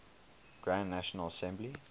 grand national assembly